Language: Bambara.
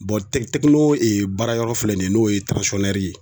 Tɛkino baara yɔrɔ filɛ nin ye n'o ye ye